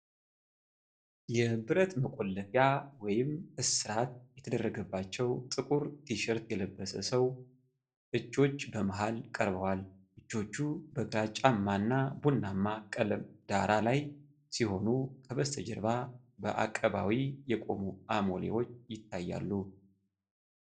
የብረት መቆለፊያ (እስራት) የተደረገባቸው ጥቁር ቲሸርት የለበሰ ሰው እጆች በመሃል ቀርበዋል። እጆቹ በግራጫማ እና ቡናማ ቀለም ዳራ ላይ ሲሆኑ ከበስተጀርባ በአቀባዊ የቆሙ አሞሌዎች ይታያሉ።